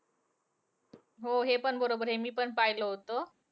हो हे पण बरोबर आहे. मी पण पाहिलं होतं.